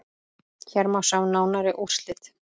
Hér má sjá nánari úrslit.